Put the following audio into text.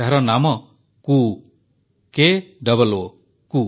ଏହାର ନାମ କୂ କ ଙଙ କୂ